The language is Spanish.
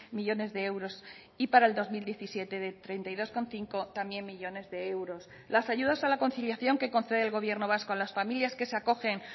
millónes de euros y para el dos mil diecisiete de treinta y dos coma cinco también millónes de euros las ayudas a la conciliación que concede el gobierno vasco a las familias que se acogen